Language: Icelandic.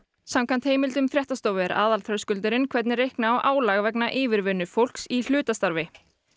samkvæmt heimildum fréttastofu er aðalþröskuldurinn hvernig reikna á álag vegna yfirvinnu fólks í hlutastarfi